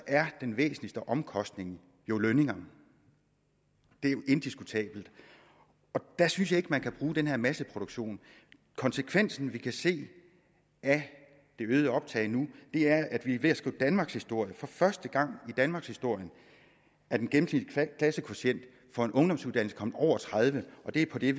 er den væsentligste omkostning jo lønninger det er jo indiskutabelt og der synes jeg ikke at man kan bruge den her masseproduktion konsekvensen vi kan se af det øgede optag nu er at vi er ved at skrive danmarkshistorie for første gang i danmarkshistorien er den gennemsnitlige klassekvotient for en ungdomsuddannelse kommet over tredive og det er på det